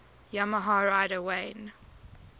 yamaha rider wayne